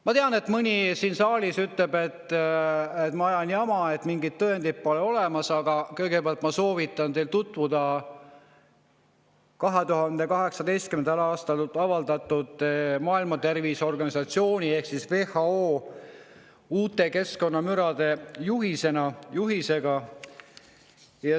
Ma tean, et mõni siin saalis ütleb, et ma ajan jama, et mingeid tõendeid pole olemas, aga ma soovitan teil kõigepealt tutvuda Maailma Terviseorganisatsiooni ehk WHO 2018. aasta keskkonnamüra.